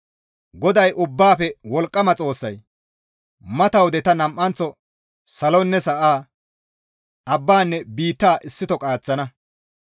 «GODAY Ubbaafe Wolqqama Xoossay, ‹Mata wode ta nam7anththo salonne sa7a, abbanne biitta issito qaaththana.